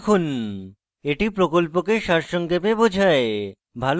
এটি প্রকল্পকে সারসংক্ষেপে বোঝায়